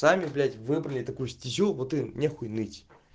сами блять выбрали такую стизю вот и не хуй ныть